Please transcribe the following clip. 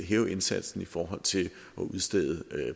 hæve indsatsen i forhold til at udstede